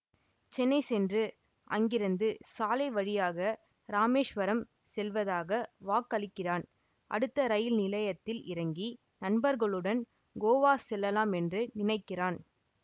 சென்னை சென்று அங்கிருந்து சாலைவழியாக ராமேஸ்வரம் செல்வதாக வாக்களிக்கிறான் அடுத்த ரயில் நிலையத்தில் இறங்கி நண்பர்களுடன் கோவா செல்லலாம் என்று நினைக்கிறான்